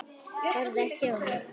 Horfði ekki á mig.